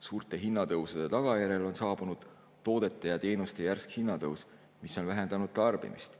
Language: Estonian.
Suurte hinnatõusude tagajärjel on saabunud toodete ja teenuste hinna järsk tõus, mis on vähendanud tarbimist.